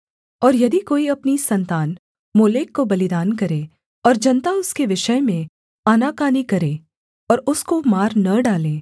और यदि कोई अपनी सन्तान मोलेक को बलिदान करे और जनता उसके विषय में आनाकानी करे और उसको मार न डाले